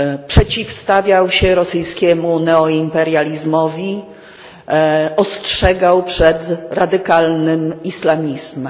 Przeciwstawiał się rosyjskiemu neoimperializmowi, ostrzegał przed radykalnym islamizmem.